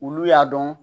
Olu y'a dɔn